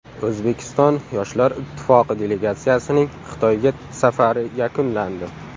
O‘zbekiston yoshlar ittifoqi delegatsiyasining Xitoyga safari yakunlandi.